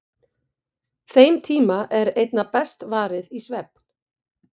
Þeim tíma er einna best varið í svefn.